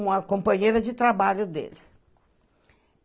Uma companheira de trabalho dele.